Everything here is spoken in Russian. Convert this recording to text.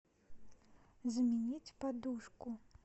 заменить подушку